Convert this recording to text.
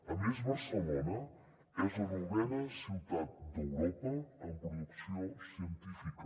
a més barcelona és la novena ciutat d’europa en producció científica